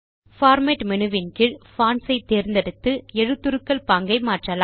format menu வின் கீழ் fonts ஐ தேர்ந்தெடுத்து எழுத்துருக்கள் பாங்கை மாற்றலாம்